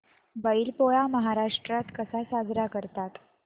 बैल पोळा महाराष्ट्रात कसा साजरा करतात